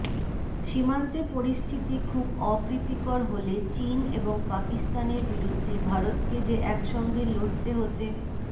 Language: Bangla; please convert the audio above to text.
সীমান্তে পরিস্থিতি খুব অপ্রীতিকর হলে চিন এবং পাকিস্তানের বিরুদ্ধে ভারতকে যে একসঙ্গে লড়তে হতে